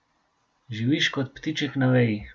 Živiš kot ptiček na veji.